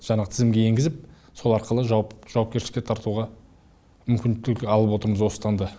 жаңағы тізімге енгізіп сол арқылы жауапкершілікке тартуға мүмкіндік алып отырмыз осы таңда